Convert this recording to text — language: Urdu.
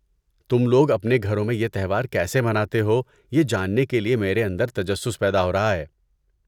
تم لوگ اپنے گھروں میں یہ تہوار کیسے مناتے ہو، یہ جاننے کے لیے میرے اندر تجسس پیدا ہو رہا ہے۔